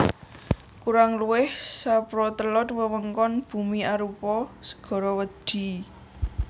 Kurang luwih saprotelon wewengkon bumi arupa segara wedhi